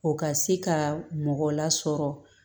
O ka se ka mɔgɔ lasɔrɔ